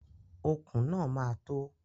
Okùn náà máa tó.